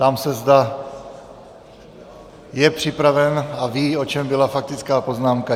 Ptám se, zda je připraven a ví, o čem byla faktická poznámka.